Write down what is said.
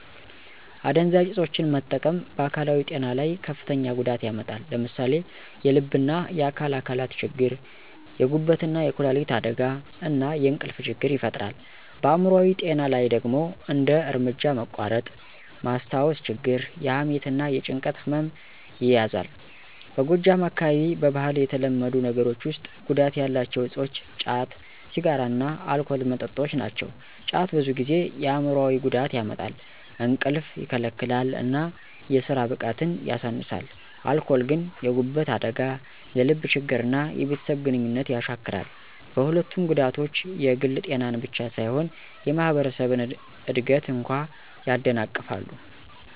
አደንዛዥ እፆችን መጠቀም በአካላዊ ጤና ላይ ከፍተኛ ጉዳት ያመጣል። ለምሳሌ የልብና የአካል አካላት ችግር፣ የጉበትና የኩላሊት አደጋ፣ እና የእንቅልፍ ችግር ይፈጥራል። በአይምሮአዊ ጤና ላይ ደግሞ እንደ እርምጃ መቋረጥ፣ ማስታወስ ችግር፣ የሐሜት እና የጭንቀት ህመም ይያዛል። በጎጃም አካባቢ በባህል የተለመዱ ነገሮች ውስጥ ጉዳት ያላቸው እፆች ጫት፣ ሲጋራ እና አልኮል መጠጦች ናቸው። ጫት ብዙ ጊዜ የአይምሮአዊ ጉዳት ያመጣል፣ እንቅልፍ ይከለክላል እና የስራ ብቃትን ያሳንሳል። አልኮል ግን የጉበት አደጋ፣ የልብ ችግር እና የቤተሰብ ግንኙነት ያሻክራል። በሁለቱም ጉዳቶች የግል ጤናን ብቻ ሳይሆን የማህበረሰብን እድገት እንኳ ያደናቅፋሉ።